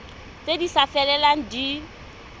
tse di sa felelang di